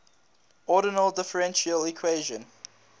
ordinary differential equation